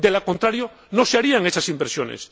De lo contrario, no se harían esas inversiones.